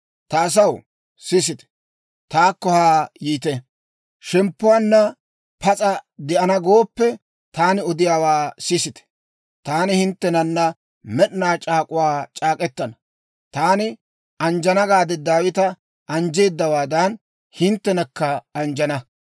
«Ta asaw, sisite; taakko haa yiite. Shemppuwaanna pas'a de'ana gooppe, taani odiyaawaa sisite. Taani hinttenana med'inaa c'aak'uwaa c'aak'k'etana. Taani anjjana gaade Daawita anjjeedawaadan, hinttenakka anjjana.